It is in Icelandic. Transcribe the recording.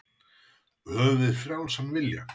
Höfum við frjálsan vilja?